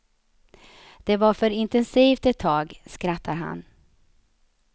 Det var för intensivt ett tag, skrattar han.